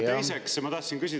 Seda esiteks.